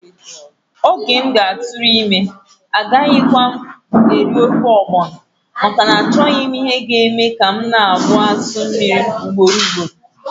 Oge m ga-atụrụ ime ee! Agakwaghị m eri ofe ogbono, maka na-achoghi m ihe ga eme ka m na-agbaa asụ mmiri ugboro ugboro.